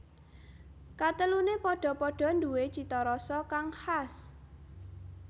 Katelune padha padha nduwe cita rasa kang khas